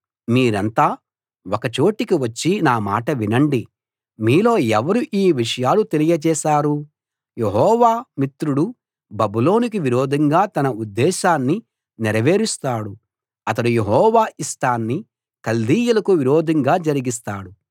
మీరంతా ఒక చోటికి వచ్చి నా మాట వినండి మీలో ఎవరు ఈ విషయాలు తెలియచేశారు యెహోవా మిత్రుడు బబులోనుకు విరోధంగా తన ఉద్దేశాన్ని నేరవేరుస్తాడు అతడు యెహోవా ఇష్టాన్ని కల్దీయులకు విరోధంగా జరిగిస్తాడు